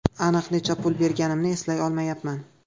Aniq necha pul berganimni eslay olmayapman.